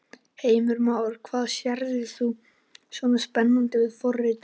Heimir Már: Hvað sérð þú svona spennandi við forritun?